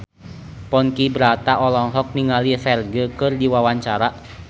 Ponky Brata olohok ningali Ferdge keur diwawancara